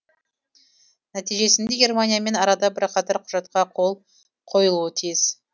нәтижесінде германиямен арада бірқатар құжатқа қол қойылуы тиіс